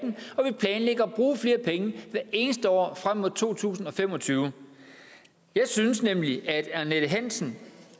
bruge flere penge hvert eneste år frem mod to tusind og fem og tyve jeg synes nemlig at annette hansen